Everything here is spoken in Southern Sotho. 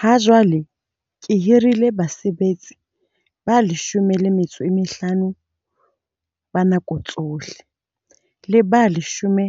Hajwale ke hirile basebetsi ba 15 ba nako tsohle le ba 10